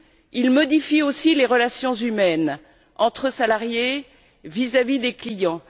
il modifie aussi les relations humaines entre salariés et vis à vis des clients.